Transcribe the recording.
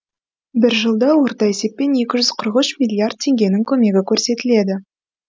бір жылда орта есеппен екі жүз қырық үш миллиард теңгенің көмегі көрсетіледі